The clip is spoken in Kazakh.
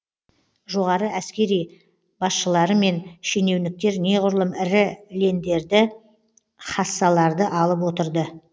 жоғары әскери басшылары мен шенеуніктер неғұрлым ірі лендерді хассаларды алып отырды